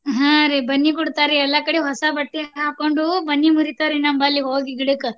ಹಾ ರೀ ಬನ್ನಿ ಕೊಡ್ತಾರ್ರೀ ಎಲ್ಲಾ ಕಡೆ ಹೊಸ ಬಟ್ಟೆ ಹಾಕೊಂಡು ಬನ್ನಿ ಮುರಿತಾರ್ರೀ ನಮ್ಮಲ್ಲಿ ಹೋಗಿ ಗಿಡಕ್